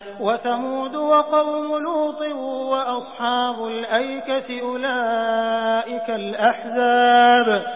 وَثَمُودُ وَقَوْمُ لُوطٍ وَأَصْحَابُ الْأَيْكَةِ ۚ أُولَٰئِكَ الْأَحْزَابُ